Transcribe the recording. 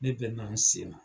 Ne bɛ na n sen na.